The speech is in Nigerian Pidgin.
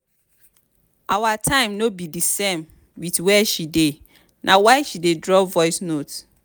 our time no be di same wit where she dey na why she dey drop voice note.